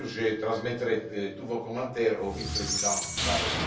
Bien sûr, je transmettrai tous vos commentaires au vice président Barrot.